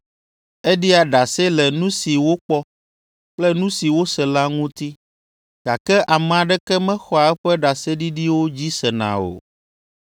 Eɖia ɖase le nu si wokpɔ kple nu si wose la ŋuti, gake ame aɖeke mexɔa eƒe ɖaseɖiɖiwo dzi sena o.